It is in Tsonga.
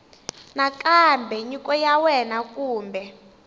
nakambe nyiko ya wena kumbe